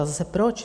A zase - proč?